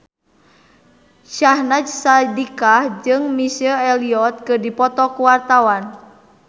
Syahnaz Sadiqah jeung Missy Elliott keur dipoto ku wartawan